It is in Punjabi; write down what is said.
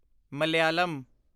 ਮਲਾਇਲਮ